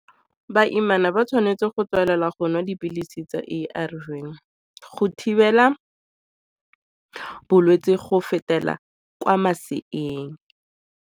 Baimana ba tshwanetse go tswelela go nwa dipilisi tsa A_R_V go thibela bolwetse go fetela kwa maseeng.